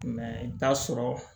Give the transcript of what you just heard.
i bɛ taa sɔrɔ